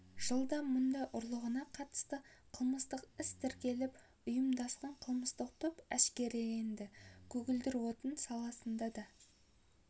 жылда мұнай ұрлығына қатысты қылмыстық іс тіркеліп ұйымдасқан қылмыстық топ әшкереленді көгілдір отын саласында да